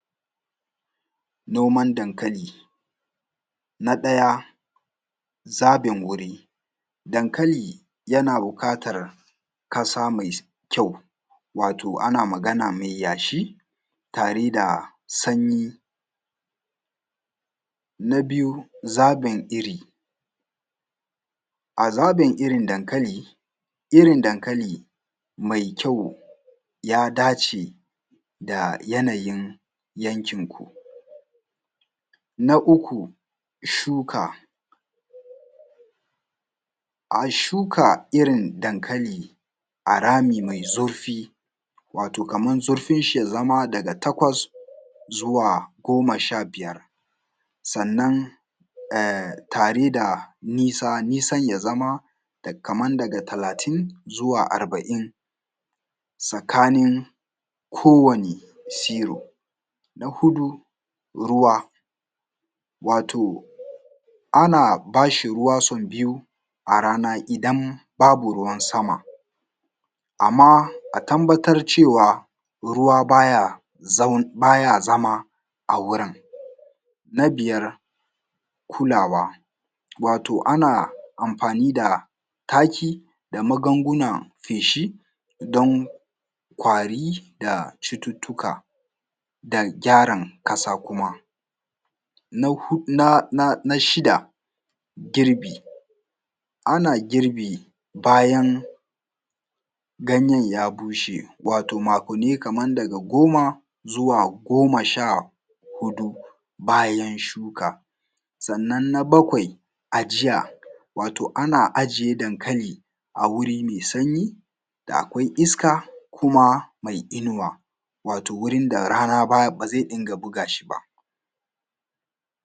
noman dankali na ɗaya zaɓin guri dankali yana buƙatar ƙasa mai kyau wato ana magana mai yashi tare da sanyi na biyu zaɓin iri a zaɓin irin dankali irin dankali mai kyau ya dace da yanayin yankinku na uku shuka a shuka irin dankali a rami mai zurfi wato kaman zurfinshi ya zama daga takwas zuwa goma sha biyar sannan tare da nisa nisan ya zama kaman daga talatin zuwa arba’in tsakanin kowane zero na huɗu ruwa wato ana ba shi ruwa sau biyu a rana idan babu ruwan sama amma a tabbatar cewa ruwa ba ya zama a wurin na biyar kulawa wato ana amfani da taki da magungunan feshi don ƙwari da cututtuka da gyaran ƙasa kuma na shida girbi ana girbi bayan ganyen ya bushe wato makwanni kaman daga goma zuwa goma sha huɗu bayan shuka sannan na bakwai ajiya wato ana aje dankali a wuri mai sanyi da akwai iska kuma mai inuwa wato wurin da rana ba zai dinga buga shi ba